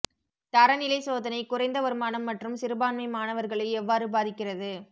தரநிலை சோதனை குறைந்த வருமானம் மற்றும் சிறுபான்மை மாணவர்களை எவ்வாறு பாதிக்கிறது